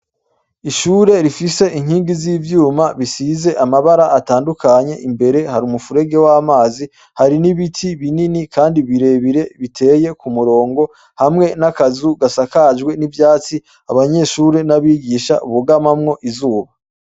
Ishure rifise inkingi z'ivyuma bisize amabara atandukanye, imbere har'umufurege w'amazi, harin'ibiti binini kandi birebire biteye kumurongo ,hamwe n'akazu gasakajwe n'ivyatsi ,abanyeshure n'abigisha bugamamwo izuba.